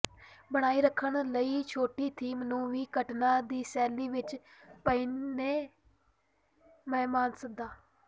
ਬਣਾਈ ਰੱਖਣ ਲਈ ਛੁੱਟੀ ਥੀਮ ਨੂੰ ਵੀ ਘਟਨਾ ਦੀ ਸ਼ੈਲੀ ਵਿਚ ਪਹਿਨੇ ਮਹਿਮਾਨ ਸੱਦਾ